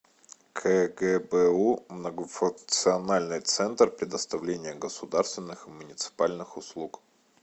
кгбу многофункциональный центр предоставления государственных и муниципальных услуг